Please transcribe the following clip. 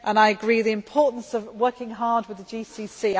I agree on the importance of working hard with the